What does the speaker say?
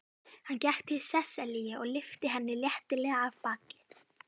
Hann gekk til Sesselju og lyfti henni léttilega af baki.